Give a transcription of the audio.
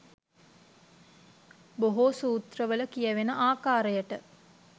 බොහෝ සූත්‍රවල කියැවෙන ආකාරයට